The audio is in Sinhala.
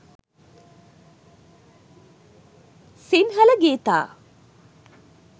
sinhala geetha